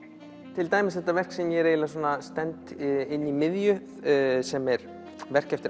til dæmis þetta verk sem ég stend inni í miðju sem er verk eftir